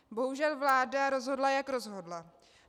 Bohužel vláda rozhodla, jak rozhodla.